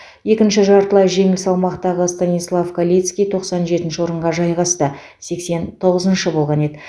екінші жартылай жеңіл салмақтағы станислав калицкий тоқсан жетінші орынға жайғасты сексен тоғызыншы болған еді